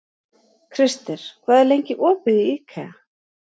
Krister, hvað er lengi opið í IKEA?